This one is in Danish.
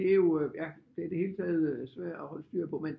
Det er jo ja det er i det hele taget svært at holde styr på men